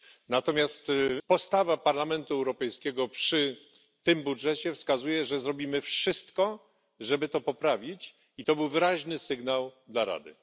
Natomiast postawa Parlamentu Europejskiego przy tym budżecie wskazuje, że zrobimy wszystko, żeby to poprawić, i to był wyraźny sygnał dla Rady.